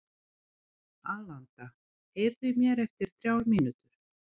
Alanta, heyrðu í mér eftir þrjár mínútur.